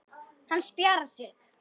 Hann spjarar sig.